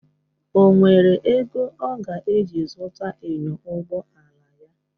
O nwere ego ọ ga-eji zụta enyo ụgbọ ala ya?